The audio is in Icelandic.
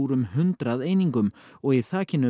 um hundrað einingar og í þakinu